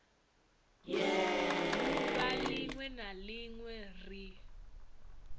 duvha linwe na linwe ri